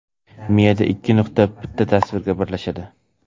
Miyada ikki nuqta bitta tasvirga birlashadi.